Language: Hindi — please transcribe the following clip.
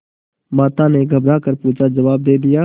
माता ने घबरा कर पूछाजवाब दे दिया